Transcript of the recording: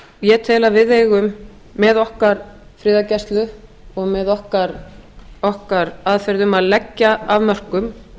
ég tel að við eigum með okkar friðargæslu og með okkar aðferðum að leggja af mörkum